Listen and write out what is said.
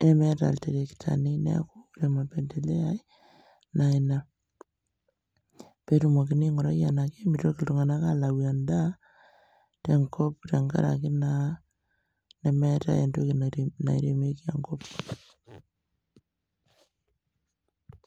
nemeeta ilterektani neaku kore mapendeleo ai naa ina. Peetumokini aingurai tenaake meitoki iltung'ana alayu endaa tenkop tengaraki naa nemeetai entoki nairemieki enkop.